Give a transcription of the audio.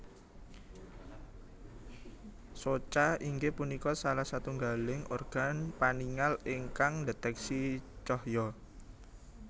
Soca inggih punika salah satunggaling organ paningal ingkang ndeteksi cahya